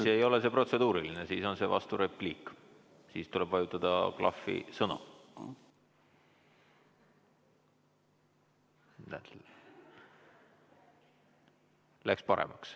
Siis ei ole see protseduuriline märkus, siis on see vasturepliik ja tuleb vajutada klahvi "Sõna".